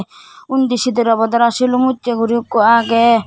undi sidebodara silum ussey gori ekko agey.